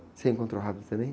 Você encontrou rápido também?